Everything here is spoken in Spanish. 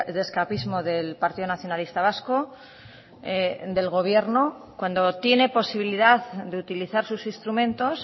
de escapismo del partido nacionalista vasco del gobierno cuando tiene posibilidad de utilizar sus instrumentos